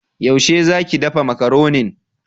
Yaushe za ki dafa Makaronin?